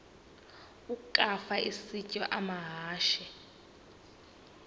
ukafa isitya amahashe